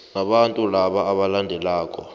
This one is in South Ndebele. nabantu napa abalandelako